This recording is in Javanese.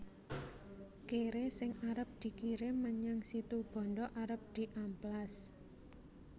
Kere sing arep dikirim menyang Situbondo arep diamplas